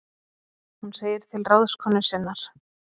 Hún segir til ráðskonu sinnar